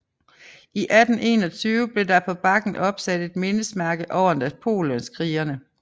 I 1821 blev der på bakken opsat et mindesmærke over Napoleonskrigene